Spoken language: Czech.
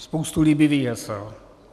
Spoustu líbivých hesel.